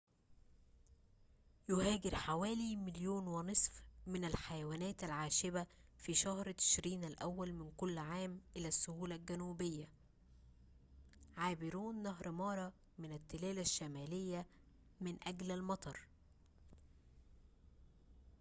يهاجر حوالي 1.5 مليون من الحيوانات العاشبة في شهر تشرين الأول من كل عام إلى السهول الجنوبية عابرون نهر مارا من التلال الشمالية من أجل الأمطار